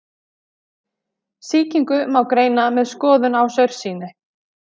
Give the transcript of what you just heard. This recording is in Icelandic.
Sýkingu má greina með skoðun á saursýni.